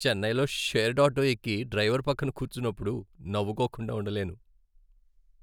చెన్నైలో షేర్డ్ ఆటోలో ఎక్కి డ్రైవర్ పక్కన కూర్చున్నప్పుడు నవ్వుకోకుండా ఉండలేను.